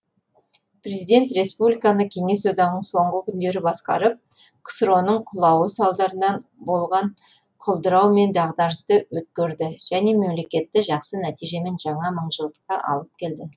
президент республиканы кеңес одағының соңғы күндері басқарып ксро ның құлауы салдарынан болған құлдырау мен дағдарысты өткерді және мемлекетті жақсы нәтижемен жаңа мың жылдыққа алып келді